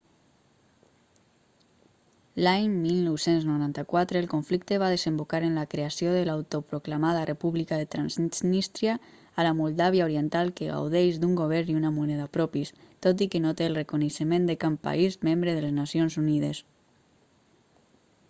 l'any 1994 el conflicte va desembocar en la creació de l'autoproclamada república de transnístria a la moldàvia oriental que gaudeix d'un govern i una moneda propis tot i que no té el reconeixement de cap país membre de les nacions unides